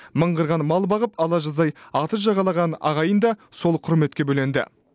мыңғырған мал бағып ала жаздай атыз жағалаған ағайын да сол құрметке бөленді